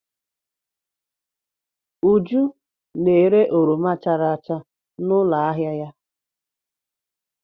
Uju na-ere oroma chara acha n'ụlọ ahịa ya.